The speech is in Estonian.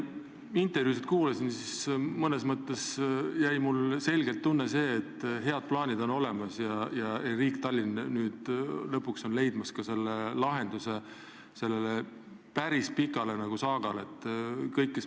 Kui ma teie juttu kuulasin, siis mõnes mõttes jäi mulle selge tunne, et head plaanid on olemas ning riik ja Tallinn on lõpuks sellele päris pikale saagale lahendust leidmas.